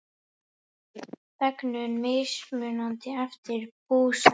Þegnum mismunað eftir búsetu